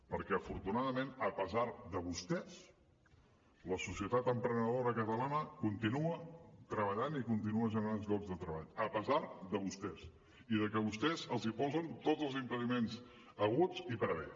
perquè afortunadament a pesar de vostès la societat emprenedora catalana continua treballant i continua generant llocs de treball a pesar de vostès i de que vostès els posen tots els impediments haguts i per haver